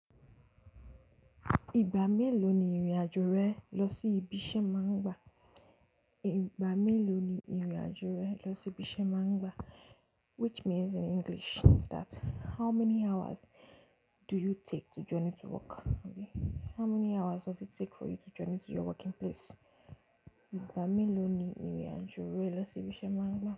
Ìgbà mélòó ni ìrìnàjò rẹ lọ sí ibi iṣẹ́ máa ń gba? Ìgbà mélòó ni ìrìnàjò rẹ lọ sí ibi iṣẹ́ máa ń gba? Which means in English that how many hours do you take to journey to work? How many hours does it take for you to journey to your working place? Ìgbà mélòó ni ìrìnàjò rẹ lọ sí ibi iṣẹ́ máa ń gba?